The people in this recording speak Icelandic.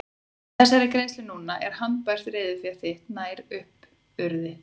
Með þessari greiðslu núna er handbært reiðufé þitt nær upp urið.